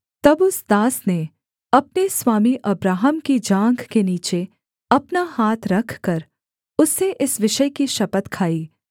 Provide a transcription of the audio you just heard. तब उस दास ने अपने स्वामी अब्राहम की जाँघ के नीचे अपना हाथ रखकर उससे इस विषय की शपथ खाई